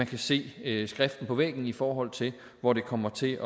kan se skriften på væggen i forhold til hvor det kommer til